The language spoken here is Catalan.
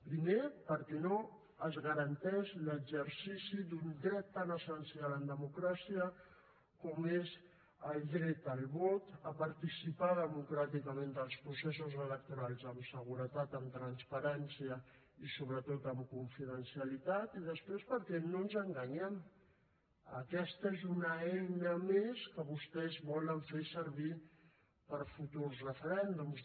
primer perquè no es garanteix l’exercici d’un dret tan essencial en democràcia com és el dret al vot a participar democràticament dels processos electorals amb seguretat amb transparència i sobretot amb confidencialitat i després perquè no ens enganyem aquesta és una eina més que vostès volen fer servir per a futurs referèndums